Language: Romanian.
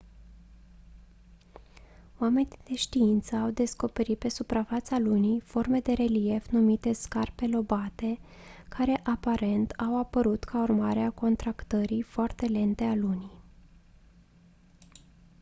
oamenii de știință au descoperit pe suprafața lunii forme de relief numite scarpe lobate care aparent au apărut ca urmare a contractării foarte lente a lunii